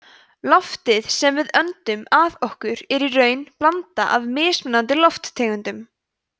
loftið sem við öndum að okkur er í raun blanda af mismunandi lofttegundum